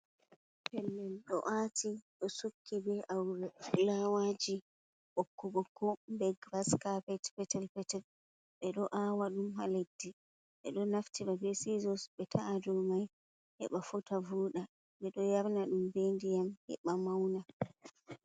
Pellel ɗo ati ɗo sukki be awre flawaji ɓokko-ɓokko be gras kapet petel petel. Ɓe ɗo awa ɗum ha leddi ɓe ɗo naftira be sizos be ta’adau mai, heɓa fotta voɗa. Ɓe ɗo yarna ɗum be ndiyam heɓa mauna.